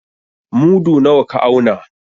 Mudu nawa ka auna?